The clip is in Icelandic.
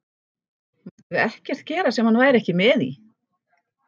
Mættum við ekkert gera sem hann væri ekki með í?